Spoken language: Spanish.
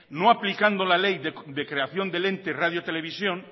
no aplicando la ley de creación del ente radio televisión